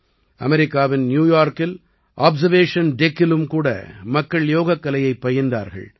அமெரிக்காவின் நியூயார்க்கில் ஆப்சர்வேஷன் டெக்கிலும் கூட மக்கள் யோகக்கலையைப் பயின்றார்கள்